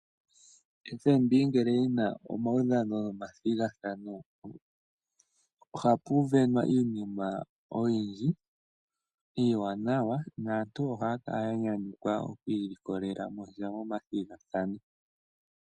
FNB ngele yi na omaudhano nomathigathano ohapu sindanwa iinima oyindji iiwanawa naantu ohaya kala ya nyanyukwa okuilikolela mo sha momathigathano.